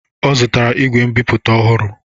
Ọ zutara igwe mbiputa ohụrụ